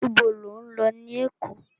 Ibo lo lọ ní Èkó?